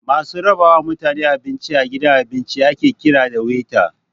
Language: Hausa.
Masu raba wa mutaene abinci a gidan abinci ake kira da 'Waiter'